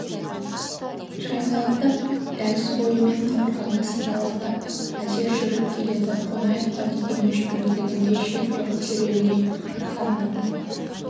шайқалақтап дәліз бойымен қабырғаны сипалақтап әзер жүріп келеді қонаевқа деген өшпенділігінде шек жоқ жүрегіне қан қатып